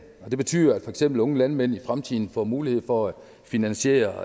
det betyder at for eksempel unge landmænd i fremtiden får mulighed for at finansiere